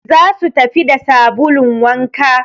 za su tafi da sabulun wanka